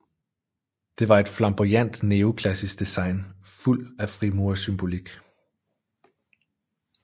Det var et flamboyant neoklassisk design fuld af frimurersymbolik